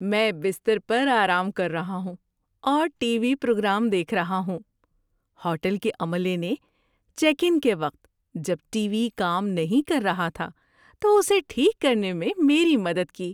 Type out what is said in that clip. میں بستر پر آرام کر رہا ہوں اور ٹی وی پروگرام دیکھ رہا ہوں۔ ہوٹل کے عملے نے چیک ان کے وقت جب ٹی وی کام نہیں کر رہا تھا تو اسے ٹھیک کرنے میں میری مدد کی۔